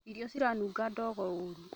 Irio ciranunga ndogo ũru